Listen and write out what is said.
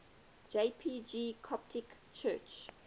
jpg coptic church